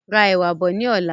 Ra ẹ̀wà bọ̀ ní ọ̀la.